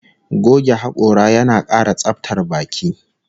Goge hakora yana kara tsabtar baki